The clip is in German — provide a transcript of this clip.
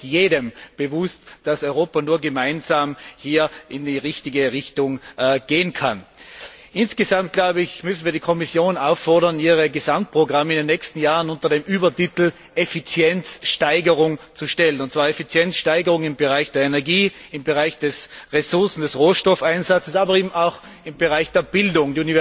Aber es ist jedem bewusst, dass Europa nur gemeinsam in die richtige Richtung gehen kann. Wir müssen die Kommission auffordern, ihre Gesamtprogramme in den nächsten Jahren unter den Übertitel Effizienzsteigerung zu stellen, und zwar Effizienzsteigerung im Bereich der Energie, im Bereich des Ressourcen und Rohstoffeinsatzes, aber auch im Bereich der Bildung.